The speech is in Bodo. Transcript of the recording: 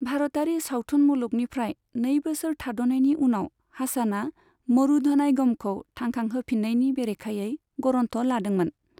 भारतारि सावथुन मुलुगनिफ्राय नै बोसोर थाद'नायनि उनाव हासानआ मरुधनायगमखौ थांखांहोफिननायनि बेरेखायै गरन्थ लादोंमोन।